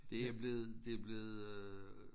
Det er blevet det blevet øh